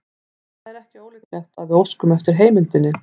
Það er ekki ólíklegt að við óskum eftir heimildinni.